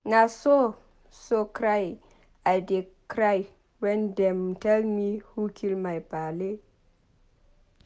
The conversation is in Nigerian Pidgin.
Na so so cry I dey cry wen dem tell me who kill my paale.